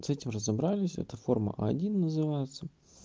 с этим разобрались это форма а один называется